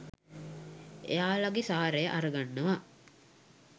එයාලගේ සාරය අරගන්නවා